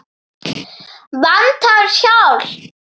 Vantar hjálp.